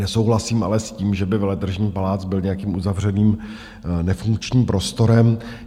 Nesouhlasím ale s tím, že by Veletržní palác byl nějakým uzavřeným nefunkčním prostorem.